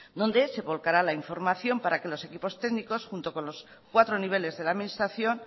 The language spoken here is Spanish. donde se volcará la información para que los equipos técnicos junto con los cuatro niveles de la administración